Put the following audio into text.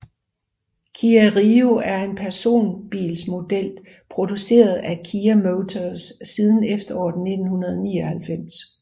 Kia Rio er en personbilsmodel produceret af Kia Motors siden efteråret 1999